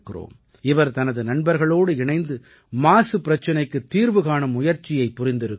இவர் தனது நண்பர்களோடு இணைந்து மாசு பிரச்சனைக்குத் தீர்வு காணும் முயற்சியை புரிந்திருக்கிறார்